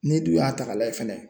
N'e dun y'a ta k'a lajɛ fɛnɛ.